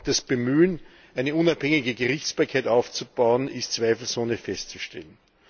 Auch das Bemühen, eine unabhängige Gerichtsbarkeit aufzubauen, ist zweifelsohne festzustellen.